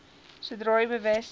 sodra u bewus